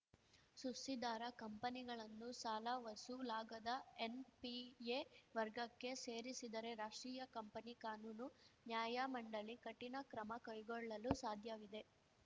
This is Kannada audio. ಸುಸ್ತಿದಾರ ಕಂಪನಿಗಳನ್ನು ಸಾಲ ವಸೂಲಾಗದ ಎನ್‌ಪಿಎ ವರ್ಗಕ್ಕೆ ಸೇರಿಸಿದರೆ ರಾಷ್ಟ್ರೀಯ ಕಂಪನಿ ಕಾನೂನು ನ್ಯಾಯಮಂಡಳಿ ಕಠಿಣ ಕ್ರಮ ಕೈಗೊಳ್ಳಲು ಸಾಧ್ಯವಿದೆ